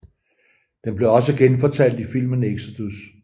Den blev også genfortalt i filmen Exodus